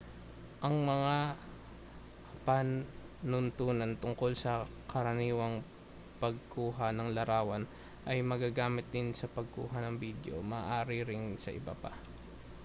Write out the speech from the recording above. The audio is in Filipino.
ang mga panuntunan tungkol sa karaniwang pagkuha ng larawan ay magagamit din sa pagkuha ng bidyo maaari ring sa iba pa